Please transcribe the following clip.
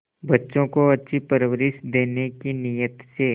बच्चों को अच्छी परवरिश देने की नीयत से